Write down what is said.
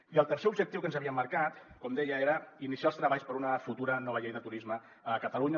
i el tercer objectiu que ens havíem marcat com deia era iniciar els treballs per a una futura nova llei de turisme a catalunya